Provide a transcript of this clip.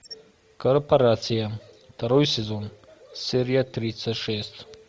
корпорация второй сезон серия тридцать шесть